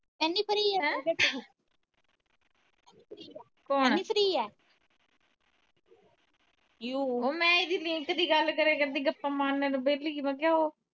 ਇੰਨੀ free ਆ ਏਨੀ free ਏ ਉਹ ਮੈ ਇਹਦੀ link ਦੀ ਗੱਲ ਕਰਿਆ ਕਰਦੀ ਗੱਪਾਂ ਮਾਰਨੇ ਨੂੰ ਵੇਹਲੀ ਏ ਮੈ ਕਿਹਾ ਉਹ